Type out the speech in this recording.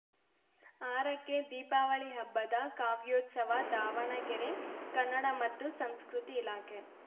ಆರಕ್ಕೆ ದೀಪಾವಳಿ ಹಬ್ಬದ ಕಾವ್ಯೋತ್ಸವ ದಾವಣಗೆರೆ ಕನ್ನಡ ಮತ್ತು ಸಂಸ್ಕೃತಿ ಇಲಾಖೆ